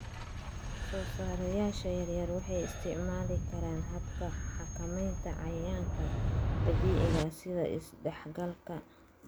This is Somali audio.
Soosaarayaasha yaryar waxay isticmaali karaan hababka xakamaynta cayayaanka dabiiciga ah sida is-dhexgalka.